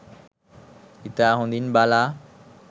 ඉතා හොඳින් බලා